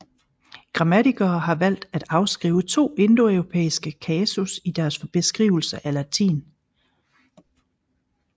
Grammatikere har valgt at afskrive to indoeuropæiske kasus i deres beskrivelse af latin